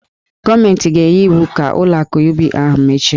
Gọọmentị ga-enye iwu ka ụlọ akụ UBA ahụ mechie.